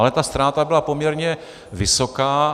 Ale ta ztráta byla poměrně vysoká.